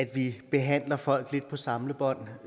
vi behandler folk lidt på samlebånd